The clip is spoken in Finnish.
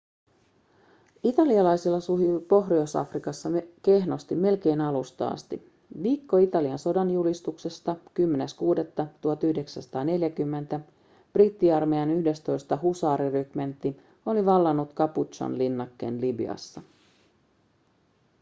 italialaisilla sujui pohjois-afrikassa kehnosti melkein alusta asti. viikko italian sodanjulistuksesta 10.6.1940 brittiarmeijan 11. husaarirymentti oli vallannut capuzzon linnakkeen libyassa